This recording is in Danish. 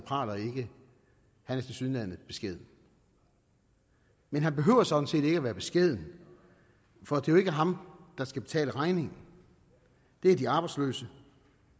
praler ikke han er tilsyneladende beskeden men han behøver sådan set ikke være beskeden for det er jo ikke ham der skal betale regningen det er de arbejdsløse